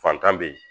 Fantan be yen